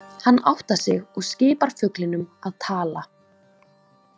Hann áttar sig og skipar fuglinum að tala.